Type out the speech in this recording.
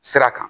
Sira kan